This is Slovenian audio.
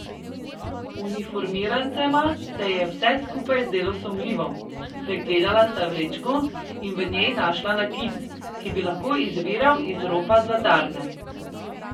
Uniformirancema se je vse skupaj zdelo sumljivo, pregledala sta vrečko in v njej našla nakit, ki bi lahko izviral iz ropa zlatarne.